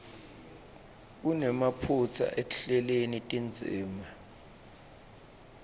kunemaphutsa ekuhleleni tindzima